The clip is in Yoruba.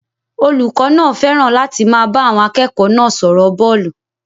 Olùkọ́ náà fẹ́ràn láti máa bá àwọn akẹ́kọ̀ọ́ náà sọ̀rọ̀ bọ́ọ̀lù